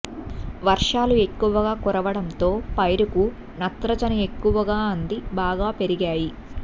వర్షాలు ఎక్కువగా కు రవడంతో పైరుకు నత్రజని ఎక్కువగా అంది బాగా పెరి గాయి